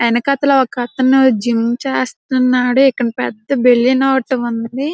వెనకతల ఒకతను జిమ్ చేస్తున్నాడు ఇక్కడ పెద్ద బెలూన్ ఒకటుంది.